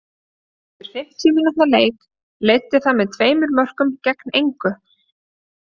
Eftir fimmtíu mínútna leik leiddi það með tveimur mörkum gegn engu.